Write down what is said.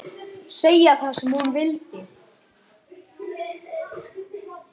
Segja það sem hún vildi.